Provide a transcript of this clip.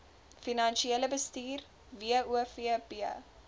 finansiële bestuur wofb